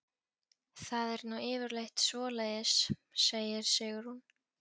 Það er nú yfirleitt svoleiðis, segir Sigrún.